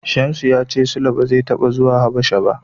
Shamsu ya cewa Sule bai taɓa zuwa Habasha ba.